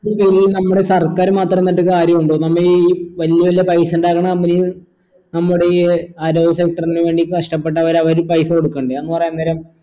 വെറും നമ്മുടെ സർക്കാർ മാത്രം നിന്നിട്ട് കാര്യുണ്ടോ നമ്മ ഈ വല്യ വല്യ പൈസ ഇണ്ടാക്കണ company നമ്മുടെ ഈ ആരോഗ്യ നു വേണ്ടി കഷ്ട്ടപെട്ടവർ അവര് പൈസ കൊടക്കണ്ടേ എന്നു പറയാൻ നേരം